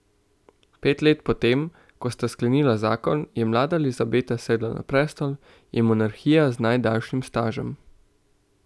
Pet let po tem, ko sta sklenila zakon, je mlada Elizabeta sedla na prestol, je monarhinja z najdaljšim stažem.